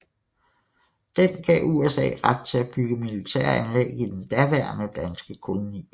Den gav USA ret til at bygge militære anlæg i den daværende danske koloni